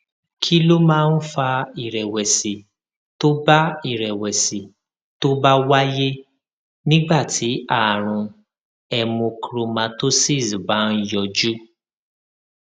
kí ló máa ń fa ìrèwèsì tó bá ìrèwèsì tó bá wáyé nígbà tí àrùn hemochromatosis bá ń yọjú